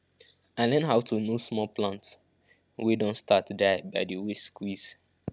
i learn how to know small plant wey don start die by the way squeeze